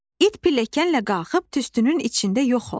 İt pilləkənlə qalxıb tüstünün içində yox oldu.